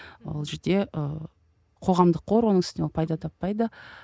ол жерде ы қоғамдық қор оның үстінен ол пайда таппайды